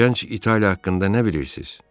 Gənc İtaliya haqqında nə bilirsiz?